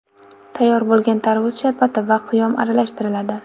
Tayyor bo‘lgan tarvuz sharbati va qiyom aralashtiriladi.